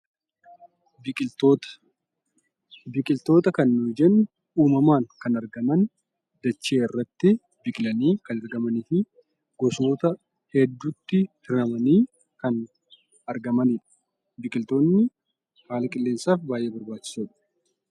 Biqiltoota kan nuti jennu uumamaan kan argaman; dachee irratti biqilanii kan argamaniifi gosoota hedduutti hiramanii kan argamanidha. Biqiltoonni haala qilleensaaf baay'ee barbaachisoodha.